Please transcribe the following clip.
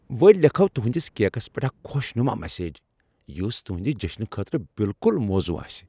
ول لیکھو تُہندِس کیکس پٮ۪ٹھ اکھ خۄش نُما مسیج، یس تُہندِ جشنہٕ خٲطرٕ بالکل موزوں آسِہ ۔